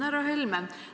Härra Helme!